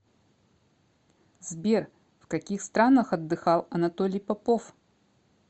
сбер в каких странах отдыхал анатолий попов